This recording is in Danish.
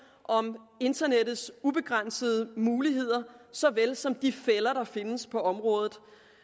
om internettets ubegrænsede muligheder så vel som de fælder der findes på området